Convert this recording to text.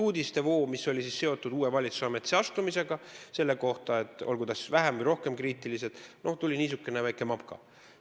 Uudiste voost, mis oli seotud uue valitsuse ametisse astumisega, olgu need uudised siis vähem või rohkem kriitilised, tuli kokku niisugune väike mapka.